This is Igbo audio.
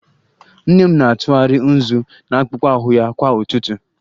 Nnene m na-atụgharị nzu na akpụkpọ ahụ ya kwa ụtụtụ